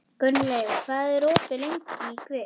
Gunnleif, hvað er opið lengi í Kvikk?